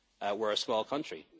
people. We're a small